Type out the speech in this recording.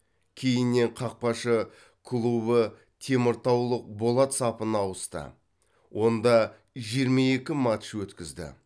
кейіннен қақпашы клубы теміртаулық болат сапына ауысты онда жиырма екі матч өткізді